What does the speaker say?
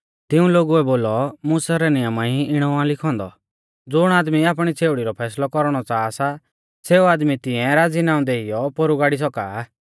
तिऊं लोगुऐ बोलौ मुसा रै नियमा ई इणौ आ लिखौ औन्दौ ज़ुण आदमी आपणी छ़ेउड़ी रौ फैसलौ कौरणौ च़ाहा सा सेऊ आदमी तिऐं राज़ीनाऊं देइयौ पोरु गाड़ी सौका आ